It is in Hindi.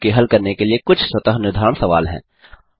यहाँ आपके हल करने के लिए कुछ स्वतः निर्धारण सवाल हैं